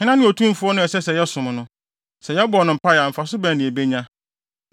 Hena ne otumfo no a ɛsɛ sɛ yɛsom no? Sɛ yɛbɔ no mpae a mfaso bɛn na yebenya?’